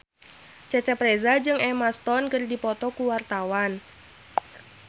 Cecep Reza jeung Emma Stone keur dipoto ku wartawan